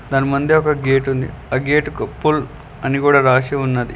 దాని ముందే ఒక గేటు ఉంది ఆ గేట్ కు పుల్ అని కూడా రాసి ఉన్నది.